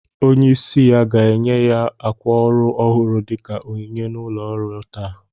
Onye isi ya ga-enye ya ákwà órù ọhụrụ dika onyinye na ụlo ọrụ taa